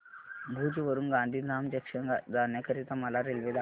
भुज वरून गांधीधाम जंक्शन जाण्या करीता मला रेल्वे दाखवा